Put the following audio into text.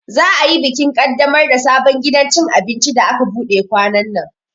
Za'a yi bikin kaddamar da sabon gidan cin abinci da aka buɗe kwanannan.